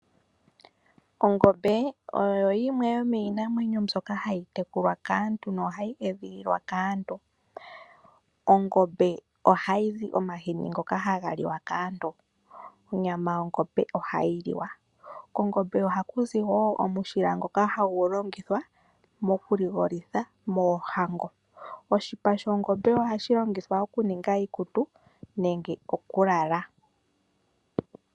Ongombe oyo yimwe yomiinamwenyo mbyoka hayi tekulwa kaantu nohayi edhililwa kaantu. Ongombe ohayi zi omahini ngoka haga liwa kaantu. Onyama yongombe ohayi liwa. Kongombe ohaku zi wo omushila ngoka hagu longithwa mokuligolithwa moohango. Oshipa shongome ohashi longithwa okuninga iikutu nenge okulala.